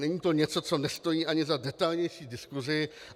Není to něco, co nestojí ani za detailnější diskusi.